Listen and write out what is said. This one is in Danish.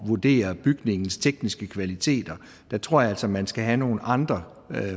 vurdere bygningens tekniske kvaliteter der tror jeg altså man skal have nogle andre